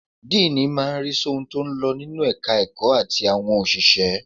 Díìnì máa ń rí sí ohun tó ń lọ nínú ẹ̀ka ẹ̀kọ́ àti àwọn òṣìṣẹ́.